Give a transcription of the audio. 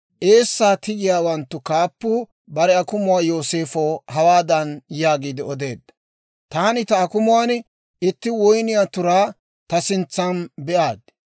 Eessaa tigiyaawanttu kaappuu bare akumuwaa Yooseefow hawaadan yaagiide odeedda; «Taani ta akumuwaan itti woyniyaa turaa ta sintsaan be'aaddi.